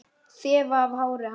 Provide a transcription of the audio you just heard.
Þefa af hári hans.